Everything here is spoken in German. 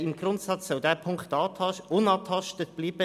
Im Grundsatz soll dieser Punkt jedoch unangetastet bleiben.